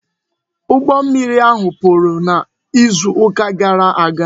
Ụgbọ mmiri ahụ kpuru n'izu ụka gara aga